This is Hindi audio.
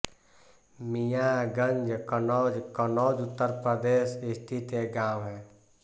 मियां गंज कन्नौज कन्नौज उत्तर प्रदेश स्थित एक गाँव है